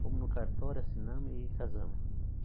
Fomos no cartório, assinamos e casamos.